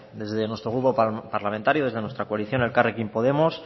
desde nuestro grupo parlamentario de nuestra coalición elkarrekin podemos